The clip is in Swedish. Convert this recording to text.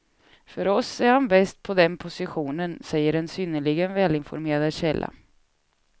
För oss är han bäst på den positionen, säger en synnerligen välinformerad källa.